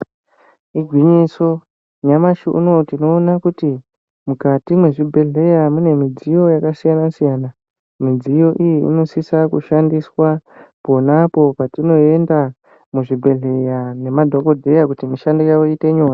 Igwinyiso, nyamashi uno tinoona kuti mukati mezvibhedhleya mune midziyo yakasiyana siyana . Midziyo iyi inosise kushandiswa ponapo patinoenda muzvibhedhleya ngemadhokodheya kuti mishando yavo iite nyore.